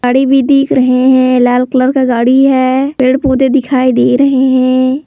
गाड़ी भी दिख रहे हैं लाल कलर का गाड़ी है पेड़ पौधे दिखाई दे रहे हैं।